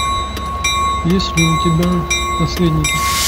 есть ли у тебя наследники